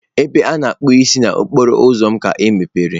Ebe a na-akpụ isi n'okporo ụzọ m ka emepere.